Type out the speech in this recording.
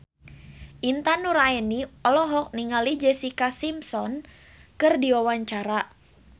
Intan Nuraini olohok ningali Jessica Simpson keur diwawancara